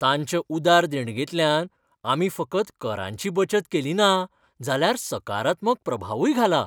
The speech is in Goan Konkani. तांच्या उदार देणगेंतल्यान आमी फकत करांची बचत केलीना जाल्यार सकारात्मक प्रभावूय घाला!